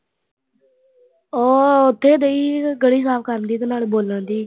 ਉਹ ਉੱਥੇ ਗਈ। ਗਲੀ ਸਾਫ ਕਰਨ ਗਈ ਤੇ ਨਾਲ ਬੋਲਣਡਈ